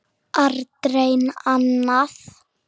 Aldrei annað.